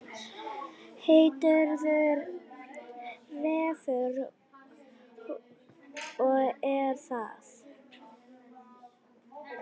Heitir Refur og er það.